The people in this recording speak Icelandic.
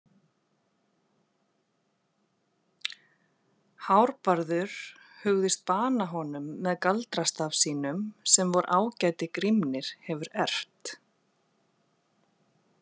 Hárbarður hugðist bana honum með galdrastaf sínum sem vor ágæti Grímnir hefur erft.